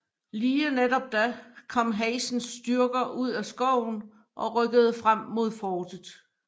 Lige netop da kom Hazens styrker ud af skoven og rykkede frem mod fortet